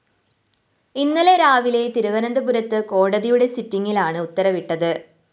ഇന്നലെ രാവിലെ തിരുവനന്തപുരത്ത് കോടതിയുടെ സിറ്റിംഗിലാണ് ഉത്തരവിട്ടത്